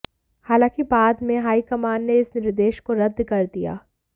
हालांकि बाद में हाईकमान ने इस निर्देश को रद्द कर दिया